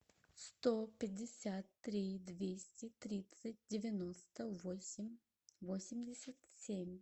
сто пятьдесят три двести тридцать девяносто восемь восемьдесят семь